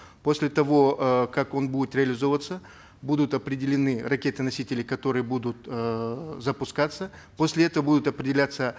после того э как он будет реализовываться будут определены ракеты носители которые будут эээ запускаться после этого будут определяться